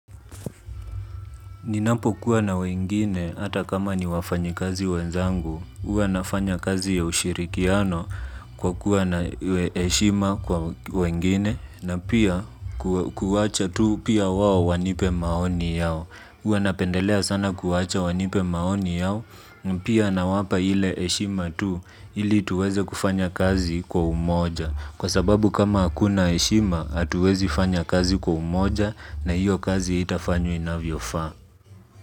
Ninapo kuwa na wengine hata kama ni wafanyi kazi wenzangu, huwa nafanya kazi ya ushirikiano kwa kuwa na heshima kwa wengine na pia kuwa kuwacha tu pia wao wanipe maoni yao. Huwa napendelea sana kuwacha wanipe maoni yao pia na wapa ile heshima tu ili tuweze kufanya kazi kwa umoja kwa sababu kama hakuna heshima hatuwezi fanya kazi kwa umoja na hiyo kazi haitafanywa inavyofaa.